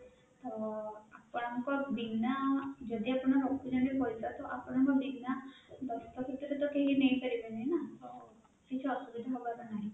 ଅଁ ଆପଣଙ୍କ ବିନା ଯଦି ଆପଣ ରଖୁଛନ୍ତି ପଇସା ତ ଆପଣଙ୍କ ବିନା ଦସ୍ତଖତ ରେ ତ କେହି ନେଇପାରିବେନି ନା ତ କିଛି ଅସୁବିଧା ହବାର ନାହିଁ